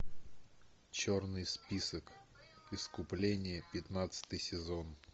черный список искупление пятнадцатый сезон